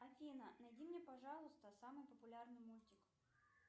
афина найди мне пожалуйста самый популярный мультик